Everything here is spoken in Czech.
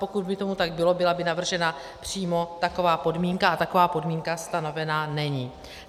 Pokud by tomu tak bylo, byla by navržena přímo taková podmínka, a taková podmínka stanovena není.